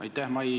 Aitäh!